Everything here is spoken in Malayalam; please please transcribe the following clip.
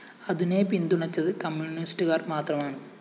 അതിനെ പിന്തുണച്ചത് കമ്മ്യൂണിസ്റ്റുകാര്‍ മാത്രമാണ്